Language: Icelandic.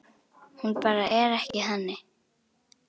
Hún bara er ekki þannig.